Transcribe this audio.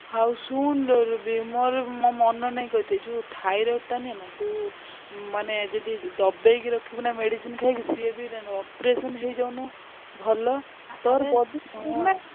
ହଉ ଶୁଣୁ ବେ ରୁବି ମୋର ମନ ନାହି କହିତେ ଯଉ ଥାଇରେଡ ଟା ନାହି ନା ତୁ ମାନେ ଯଦି ଦବେଇକି ରଖିବୁ ନା medicine ଖାଇକି ସେ ବି operation ହେଇଯାଉନୁ ଭଲ।